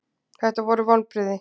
Þetta voru vonbrigði.